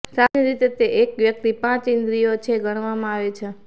સામાન્ય રીતે તે એક વ્યક્તિ પાંચ ઇન્દ્રિયો છે ગણવામાં આવે છે